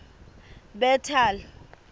bethal